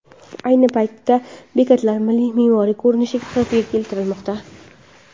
Ayni paytda bekatlar milliy me’moriy ko‘rinishdagi holatga keltirilmoqda.